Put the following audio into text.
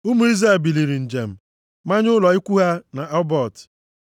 Ụmụ Izrel biliri njem, manye ụlọ ikwu ha na Obot.